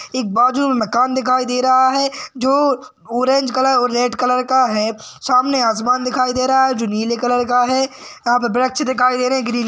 एक बाजू मे मखान दिखाई दे रहा है जो ऑरेंज कलर और रेड कलर का है। सामने आसमान दिखाई दे रहा है। जो नीले कलर का है। यहा पे वृक्ष दिखाई दे रहे ग्रीन--